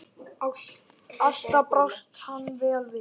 Alltaf brást hann vel við.